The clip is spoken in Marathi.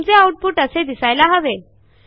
तुमचे आऊटपुट असे दिसायला हवे